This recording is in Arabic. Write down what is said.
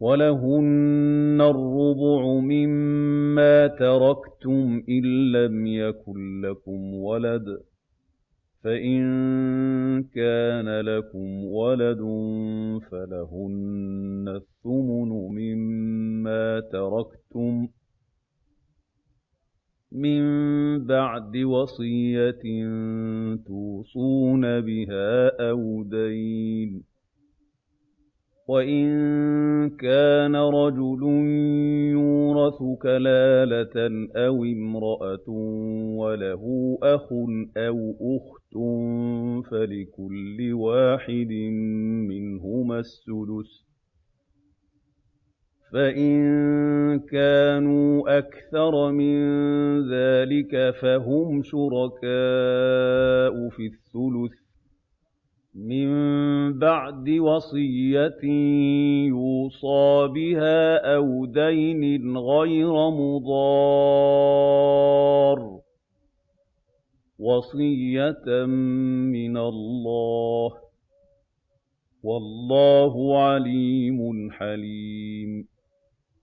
وَلَهُنَّ الرُّبُعُ مِمَّا تَرَكْتُمْ إِن لَّمْ يَكُن لَّكُمْ وَلَدٌ ۚ فَإِن كَانَ لَكُمْ وَلَدٌ فَلَهُنَّ الثُّمُنُ مِمَّا تَرَكْتُم ۚ مِّن بَعْدِ وَصِيَّةٍ تُوصُونَ بِهَا أَوْ دَيْنٍ ۗ وَإِن كَانَ رَجُلٌ يُورَثُ كَلَالَةً أَوِ امْرَأَةٌ وَلَهُ أَخٌ أَوْ أُخْتٌ فَلِكُلِّ وَاحِدٍ مِّنْهُمَا السُّدُسُ ۚ فَإِن كَانُوا أَكْثَرَ مِن ذَٰلِكَ فَهُمْ شُرَكَاءُ فِي الثُّلُثِ ۚ مِن بَعْدِ وَصِيَّةٍ يُوصَىٰ بِهَا أَوْ دَيْنٍ غَيْرَ مُضَارٍّ ۚ وَصِيَّةً مِّنَ اللَّهِ ۗ وَاللَّهُ عَلِيمٌ حَلِيمٌ